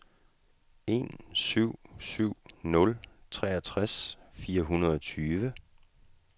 en syv syv nul treogtres fire hundrede og tyve